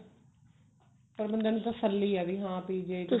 ਪਰ ਬੰਦੇ ਨੂੰ ਤਸੱਲੀ ਹੈ ਵੀ ਹਾਂ PGI